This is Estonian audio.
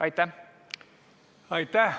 Aitäh!